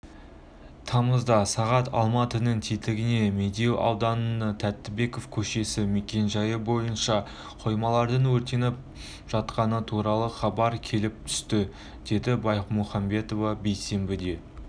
тамызда сағат алматының тетігіне медеу ауданы тәттібеков көшесі мекенжайы бойынша қоймалардың өртеніп жатқаны туралы хабар келіп түсті деді баймухамбетова бейсенбіде